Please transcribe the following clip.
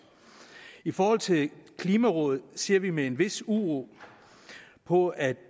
i forhold til klimarådet ser vi med en vis uro på at